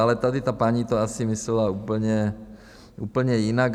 Ale tady ta paní to asi myslela úplně jinak.